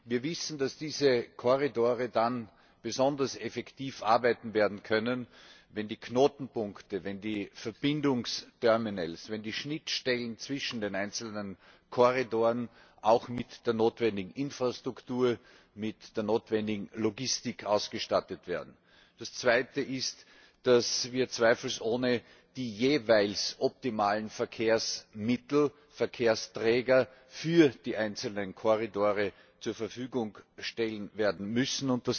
Wir wissen, dass diese Korridore dann besonders effektiv arbeiten werden können, wenn die Knotenpunkte, die Verbindungsterminals, die Schnittstellen zwischen den einzelnen Korridoren auch mit der notwendigen Infrastruktur und mit der notwendigen Logistik ausgestattet werden. Das Zweite ist, dass wir zweifelsohne die jeweils optimalen Verkehrsmittel Verkehrsträger für die einzelnen Korridore zur Verfügung werden stellen müssen.